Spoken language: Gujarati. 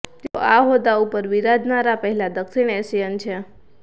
તેઓ આ હોદ્દા ઉપર બિરાજનારા પહેલા દક્ષિણ એશિયન છે